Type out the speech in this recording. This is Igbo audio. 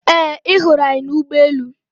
Ee, ị hụrụ anyị n' ụgbọelu.